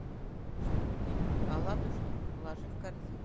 штрудель аладушкин положи в корзину